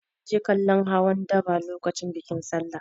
Na je kallon hawan daba lokacin bikin Sallah.